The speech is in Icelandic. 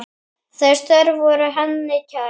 Þau störf voru henni kær.